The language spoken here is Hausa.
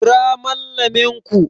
Kira Mallamin ku!